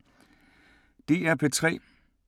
DR P3